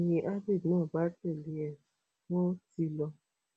ni abbey náà bá tẹlé e wọn ti lọ